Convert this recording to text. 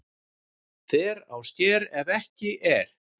Fer á sker ef ekki er